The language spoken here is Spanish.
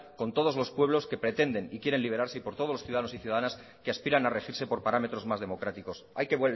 con todos los pueblos que pretenden y quieren liberarse y por todos los ciudadanos y ciudadanas que aspiran a regirse por parámetros más democráticos hay que